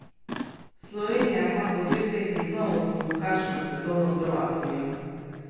Slovenija ima po dveh letih novo smukaško svetovno prvakinjo!